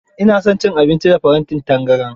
Ina son cin abinci a farantin tangaran.